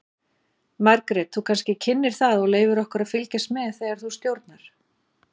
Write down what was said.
Margrét þú kannski kynnir það og leyfir okkur að fylgjast með þegar þú stjórnar?